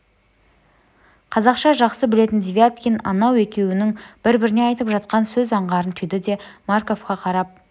қазақша жақсы білетін девяткин анау екеуінің бір-біріне айтып жатқан сөз аңғарын түйді де марковқа қарап